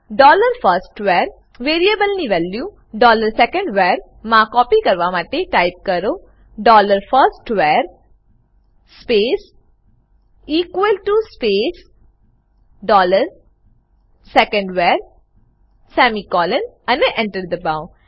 dollar first var વેરીએબલની value dollar second var મા copy કરવામાટે ટાઈપ કરો dollar first var space equal to space dollar second var semicolon અને Enter દબાઓ